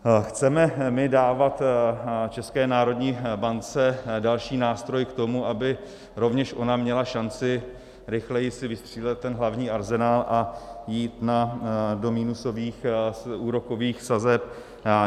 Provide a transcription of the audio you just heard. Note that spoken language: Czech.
Chceme my dávat České národní bance další nástroj k tomu, aby rovněž ona měla šanci rychleji si vystřílet ten hlavní arzenál a jít do minusových úrokových sazeb?